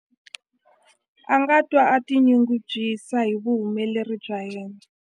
A nga twa a tinyungubyisa hi vuhumeleri bya yena.